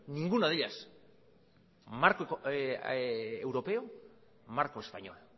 ninguna de ellas marco europeo marco español